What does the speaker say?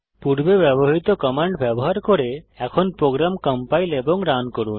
পূর্বে ব্যবহৃত কমান্ড ব্যবহার করে এখন প্রোগ্রাম কম্পাইল এবং রান করুন